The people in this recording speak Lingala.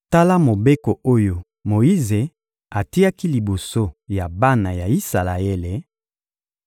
Tala Mobeko oyo Moyize atiaki liboso ya bana ya Isalaele: